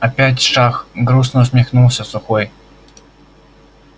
опять шах грустно усмехнулся сухой